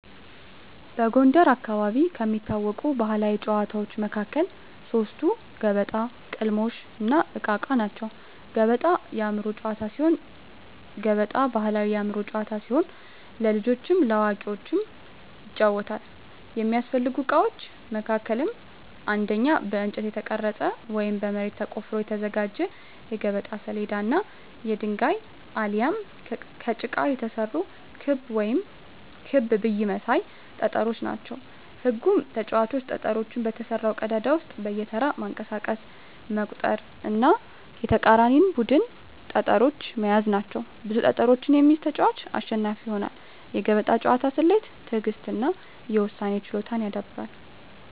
በጎንደር አካባቢ ከሚታወቁ ባሕላዊ ጨዋታዎች መካከል ሶስቱ ገበጣ፣ ቅልሞሽ፣ እና እቃ እቃ ናቸው። ገበጣ የአእምሮ ጨዋታ ሲሆን ገበጣ ባሕላዊ የአእምሮ ጨዋታ ሲሆን ለልጆችም ለአዋቂዎችም ይጫወታል። የሚያስፈልጉ እቃዎች መካከልም አንደኛ በእንጨት የተቀረጸ ወይም በመሬት ተቆፍሮ የተዘጋጀ የገበጣ ሰሌዳ እና የድንጋይ አሊያም ከጭቃ የተሰሩ ክብ ብይ መሳይ ጠጠሮች ናቸው። ህጉም ተጫዋቾች ጠጠሮቹን በተሰራው ቀዳዳ ውስጥ በየተራ በማንቀሳቀስ መቁጠር እና የተቃራኒን ቡድን ጠጠሮች መያዝ ናቸው። ብዙ ጠጠሮችን የሚይዝ ተጫዋች አሸናፊ ይሆናል። የገበጣ ጨዋታ ስሌትን፣ ትዕግሥትን እና የውሳኔ ችሎታን ያዳብራል።